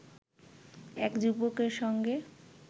এক যুবকের সঙ্গে